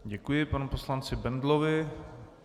Děkuji panu poslanci Bendlovi.